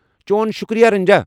چون شُکریہ، رنجا۔